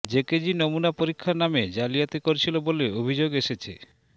JKG নমুনা পরীক্ষার নামে জালিয়াতি করছিল বলে অভিযোগ এসেছে